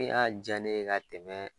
Min y'a ja ne ka tɛmɛ